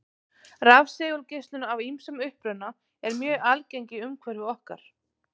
Rafsegulgeislun af ýmsum uppruna er mjög algeng í umhverfi okkar.